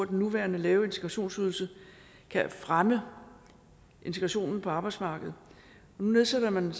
den nuværende lave integrationsydelse kan fremme integrationen på arbejdsmarkedet nu nedsætter man